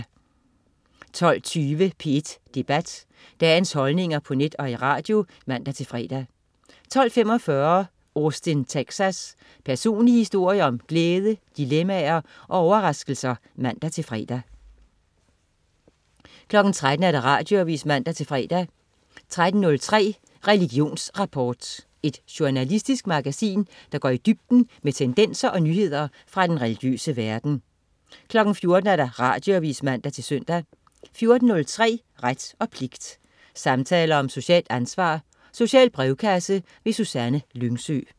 12.20 P1 Debat. Dagens holdninger på net og i radio (man-fre) 12.45 Austin Texas. Personlige historier om glæde, dilemmaer og overraskelser (man-fre) 13.00 Radioavis (man-fre) 13.03 Religionsrapport. Et journalistisk magasin, der går i dybden med tendenser og nyheder fra den religiøse verden 14.00 Radioavis (man-søn) 14.03 Ret og pligt. Samtaler om socialt ansvar. Social brevkasse. Susanne Lyngsø